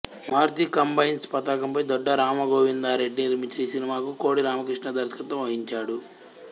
Maruti Combines పతాకంపై దొడ్డా రామగోవిందరెడ్డి నిర్మించిన ఈ సినిమాకు కోడి రామకృష్ణ దర్శకత్వం వహించాడు